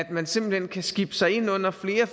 man simpelt hen kan skibe sig ind under flere